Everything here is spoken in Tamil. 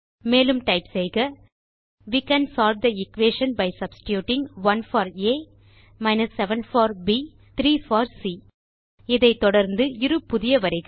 மேலும் டைப் செய்க we can solve the equation by substituting 1 for a 7 for b 3 for c இதை தொடர்ந்து இரு புதிய வரிகள்